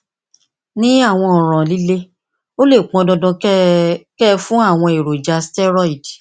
ní àwọn ọràn líle ó lè pọn dandan kí ẹ kí ẹ fún àwọn èròjà sítẹrọìdì